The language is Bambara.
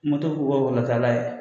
k'u ka ye.